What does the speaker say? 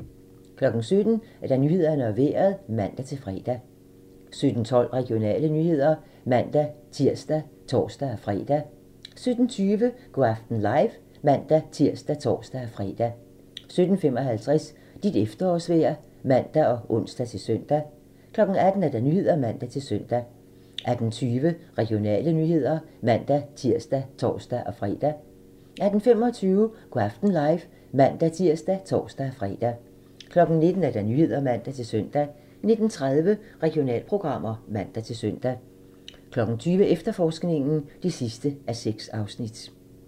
17:00: Nyhederne og Vejret (man-fre) 17:12: Regionale nyheder (man-tir og tor-fre) 17:20: Go' aften live (man-tir og tor-fre) 17:55: Dit efterårsvejr (man og ons-søn) 18:00: Nyhederne (man-søn) 18:20: Regionale nyheder (man-tir og tor-fre) 18:25: Go' aften live (man-tir og tor-fre) 19:00: Nyhederne (man-søn) 19:30: Regionalprogram (man-søn) 20:00: Efterforskningen (6:6)